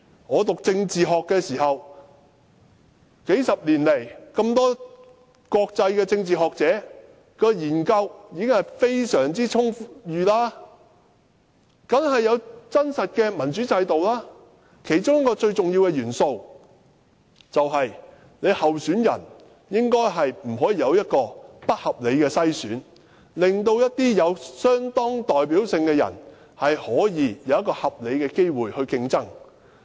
我唸政治學的時候，數十年來這麼多國際政治學者的研究已經非常充裕，當然有真實的民主制度，其中一個重要元素，便是不應該不合理地篩選候選人，令一些有相當代表性的人可以有合理的競爭機會。